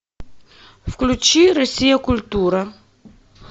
включи россия культура